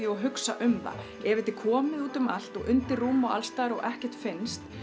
og hugsa um þær ef þetta er komið út um allt og undir rúm allstaðar og ekkert finnst